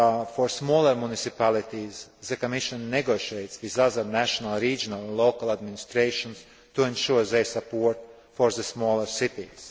For smaller municipalities, the Commission negotiates with other national, regional and local administrations to ensure their support for the smaller cities.